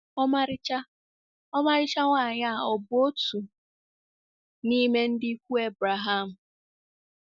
Ọmarịcha Ọmarịcha nwanyị a ọ̀ bụ otu n’ime ndị ikwu Ebreham?